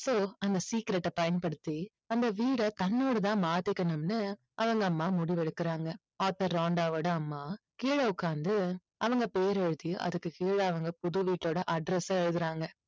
so அந்த secret ஐ பயன்படுத்தி அந்த வீட தன்னோடதா மாத்திக்கணும்னு அவங்க அம்மா முடிவெடுக்குறாங்க. author ராண்டாவோட அம்மா கீழே உட்காந்து அவங்க பேர் எழுதி அதுக்கு கீழ அவங்க புது வீட்டோட address அ எழுதுறாங்க.